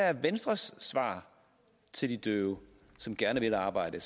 er venstres svar til de døve som gerne vil arbejde